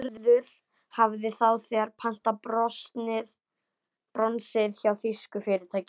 Gerður hafði þá þegar pantað bronsið hjá þýsku fyrirtæki.